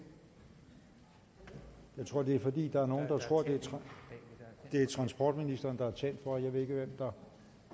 jeg tror at det er fordi det er transportministeren der er tændt for jeg ved ikke hvem der